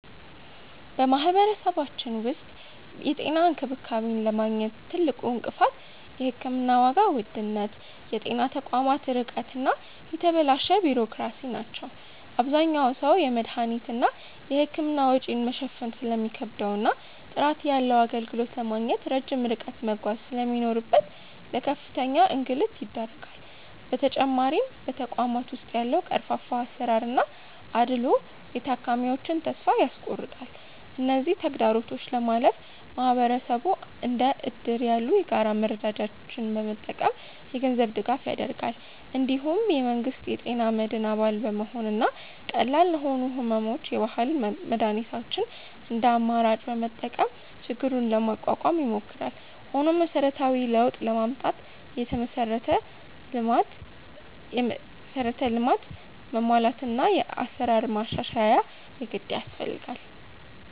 በማህበረሰባችን ውስጥ የጤና እንክብካቤን ለማግኘት ትልቁ እንቅፋት የሕክምና ዋጋ ውድነት፣ የጤና ተቋማት ርቀት እና የተበላሸ ቢሮክራሲ ናቸው። አብዛኛው ሰው የመድኃኒትና የሕክምና ወጪን መሸፈን ስለሚከብደውና ጥራት ያለው አገልግሎት ለማግኘት ረጅም ርቀት መጓዝ ስለሚኖርበት ለከፍተኛ እንግልት ይዳረጋል። በተጨማሪም በተቋማት ውስጥ ያለው ቀርፋፋ አሰራርና አድልዎ የታካሚዎችን ተስፋ ያስቆርጣል። እነዚህን ተግዳሮቶች ለማለፍ ማህበረሰቡ እንደ እድር ያሉ የጋራ መረዳጃዎችን በመጠቀም የገንዘብ ድጋፍ ያደርጋል። እንዲሁም የመንግስት የጤና መድን አባል በመሆንና ቀላል ለሆኑ ሕመሞች የባህል መድኃኒቶችን እንደ አማራጭ በመጠቀም ችግሩን ለመቋቋም ይሞክራል። ሆኖም መሰረታዊ ለውጥ ለማምጣት የመሠረተ ልማት መሟላትና የአሰራር ማሻሻያ የግድ ያስፈልጋል።